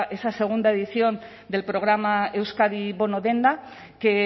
esa segunda edición del programa euskadi bono denda que